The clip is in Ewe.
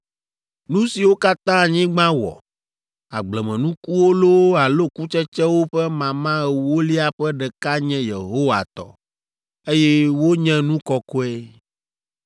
“ ‘Nu siwo katã anyigba wɔ, agblemenukuwo loo alo kutsetsewo ƒe mama ewolia ƒe ɖeka nye Yehowa tɔ, eye wonye nu kɔkɔe.